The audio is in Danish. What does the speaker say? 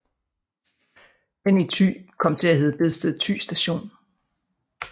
Den i Thy kom til at hedde Bedsted Thy Station